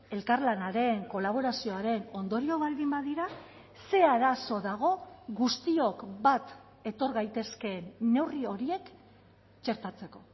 elkarlanaren kolaborazioaren ondorio baldin badira zer arazo dago guztiok bat etor gaitezkeen neurri horiek txertatzeko